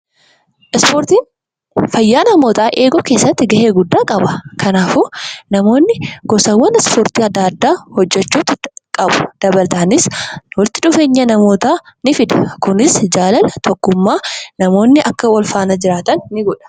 Ispoortiin fayyaa namootaa eeguu keessatti gahee guddaa qaba. Kanaafuu namoonni gosawwan ispoortii adda addaa hojjechuu qabu. Dabalataanis walitti dhufeenya namootaa ni fida. Kunis jaalala, tokkummaan namoonni akka wal faana jiraatan ni godha.